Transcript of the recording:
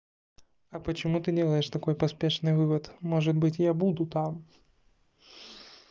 а почему ты делаешь такой поспешный вывод может быть я буду там